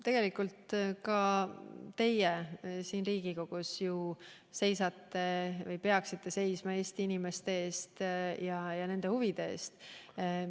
Tegelikult peaksite ka teie siin Riigikogus seisma Eesti inimeste ja nende huvide eest.